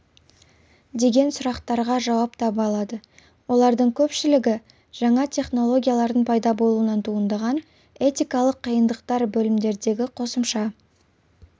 деген сұрақтарға жауап таба алады олардың көпшілігі жаңа технологиялардың пайда болуынан туындаған этикалық қиындықтар бөлімдердегі қосымша